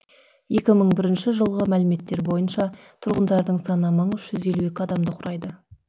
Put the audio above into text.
екі мың бірінші жылғы мәліметтер бойынша тұрғындарының саны мың үш жүз елу адамды құрайды